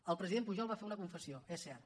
el president pujol va fer una confessió és cert